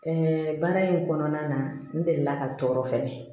baara in kɔnɔna na n deli la ka tɔɔrɔ fɛnɛ